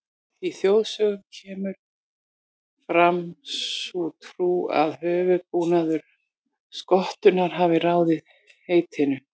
Í þjóðsögum kemur fram sú trú að höfuðbúnaður skottunnar hafi ráðið heitinu.